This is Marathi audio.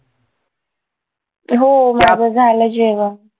हो माझं झालं जेवण